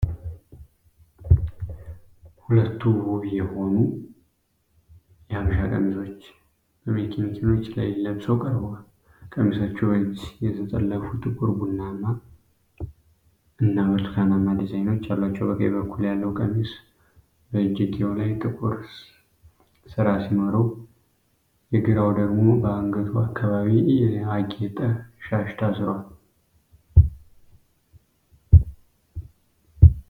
ሁለት ውብ የሆኑ ነጭ የሀበሻ ቀሚሶች በማኔኪኖች ላይ ለብሰው ቀርበዋል። ቀሚሶቹ በእጅ የተጠለፉ ጥቁር፣ ቡናማ እና ብርቱካናማ ዲዛይኖች አሏቸው። በቀኝ በኩል ያለው ቀሚስ በእጀጌው ላይ ጥቁር ስራ ሲኖረው፣ የግራው ደግሞ በአንገቱ አካባቢ የተጌጠ ሻሽ ታስሯል።